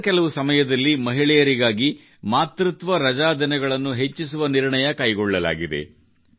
ಕಳೆದ ಕೆಲವು ಸಮಯದಲ್ಲಿ ಮಹಿಳೆಯರಿಗಾಗಿ ಮಾತೃತ್ವ ರಜಾ ದಿನಗಳನ್ನು ಹೆಚ್ಚಿಸುವ ನಿರ್ಣಯ ಕೈಗೊಳ್ಳಲಾಗಿದೆ